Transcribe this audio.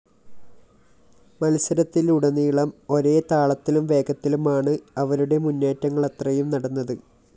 മത്സരത്തിലുടനീളം ഒരേ താളത്തിലും വേഗത്തിലുമാണ്‌ അവരുടെ മുന്നേറ്റങ്ങളത്രയും നടന്നത്‌